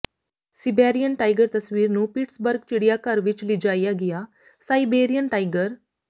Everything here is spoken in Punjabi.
ਸਿਬੈਰਿਅਨ ਟਾਈਗਰ ਤਸਵੀਰ ਨੂੰ ਪਿਟਸਬਰਗ ਚਿੜੀਆਘਰ ਵਿੱਚ ਲਿਜਾਇਆ ਗਿਆ ਸਾਈਬੇਰੀਅਨ ਟਾਈਗਰ